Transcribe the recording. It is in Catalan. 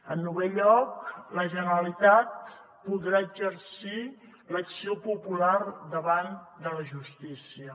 en novè lloc la generalitat podrà exercir l’acció popular davant de la justícia